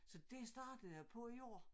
Så et startede jeg på i år